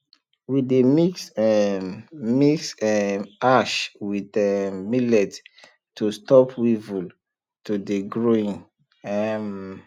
we dey mix um mix um ash with um millet to stop weevil to dey growing um